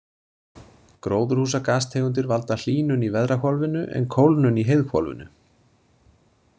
Gróðurhúsagastegundir valda hlýnun í veðrahvolfinu, en kólnun í heiðhvolfinu.